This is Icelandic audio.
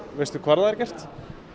veistu hvar það er gert